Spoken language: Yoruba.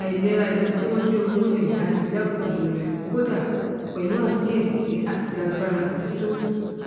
aìlera ìlọsíwájú owó lè dáni lẹkùnúnrẹ kódà pẹlú àkíyèsí àti àgbára tító